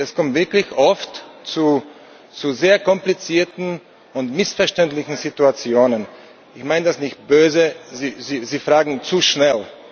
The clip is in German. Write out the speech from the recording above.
Es kommt wirklich oft zu sehr komplizierten und missverständlichen Situationen. Ich meine das nicht böse, aber Sie fragen zu schnell.